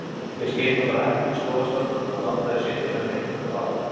Ég skil nú bara ekkert í skólastjóranum að láta þig sitja hjá Rikku á